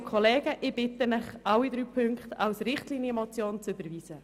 Ich bitte Sie daher, alle drei Punkte als Richtlinienmotion zu überweisen.